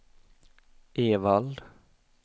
Evald